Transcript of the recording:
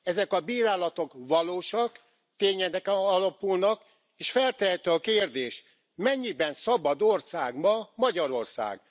Ezek a bírálatok valósak, tényeken alapulnak és feltehető a kérdés mennyiben szabad ország ma Magyarország?